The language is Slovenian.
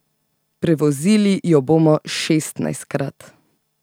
Prevozili jo bomo šestnajstkrat.